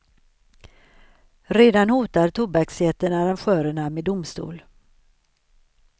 Redan hotar tobaksjätten arrangörerna med domstol.